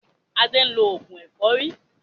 Adé ń lo oògùn ẹ̀fọ́rí